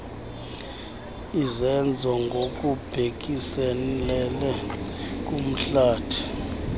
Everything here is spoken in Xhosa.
izenzo ngokubhekiselele kumhlathi